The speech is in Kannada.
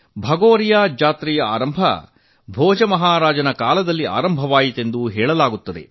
ಭಗೋರಿಯಾಜಾತ್ರೆಯ ಆರಂಭ ಭೋಜ ಮಹಾರಾಜನ ಕಾಲದಲ್ಲಿ ಆಗಿದೆ ಎಂದು ಹೇಳಲಾಗುತ್ತದೆ